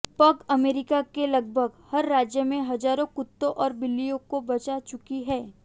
पघ America के लगभग हर राज्य में हजारों कुत्तों और बिल्लियों को बचा चुकी हैं